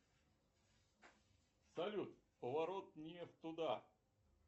салют поворот не туда